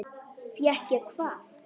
Fékk ég hvað?